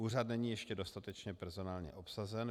Úřad není ještě dostatečně personálně obsazen.